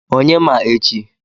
Onye ma echi?